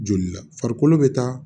Joli la farikolo bɛ taa